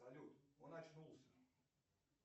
салют он очнулся